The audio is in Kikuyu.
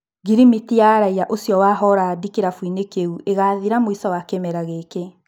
Ngirimiti wa raiya ũcio wa Horandi kĩrabuinĩ kĩu ĩgathira mũico wa kĩmera gĩkĩ.